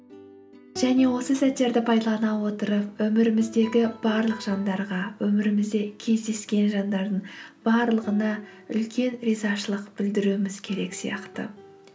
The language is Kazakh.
және осы сәттерді пайдалана отырып өміріміздегі барлық жандарға өмірімізде кездескен жандардың барлығына үлкен ризашылық білдіруіміз керек сияқты